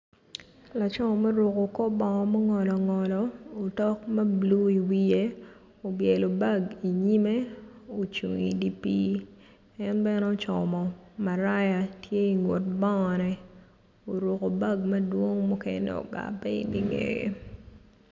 Laco ma oruko kor bongo mungolo ngolo took ma bulu iwiye obyelo bag inyime ocung idi pii en bene ocomo maraya tye ingut bongone oruko bag madwong mukene ogabbe ingeye.